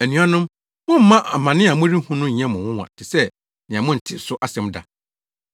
Anuanom, mommma amane a morehu no nyɛ mo nwonwa te sɛ nea montee so asɛm da.